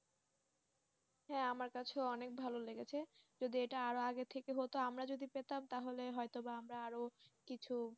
হ্যাঁ আমার কাছে ও অনেক ভালো লেগেছে যদি এটা আরো আগে থেকে হতো আমরা যদি পেতাম তাহলে হয়তো বা আমরা আরো কিছু